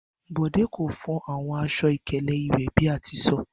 Bode ko fo awọn aṣọ-ikele iwe bi a ti sọ.